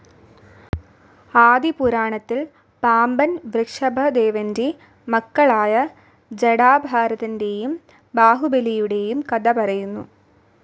ആദി പുരാണത്തിൽ പാമ്പൻ വൃഷഭദേവൻ്റെ മക്കളായ ജടാഭരതൻ്റെയും ബാഹുബലിയുടെയും കഥ പറയുന്നു.